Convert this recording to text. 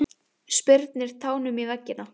Spyrnir tánum í veggina.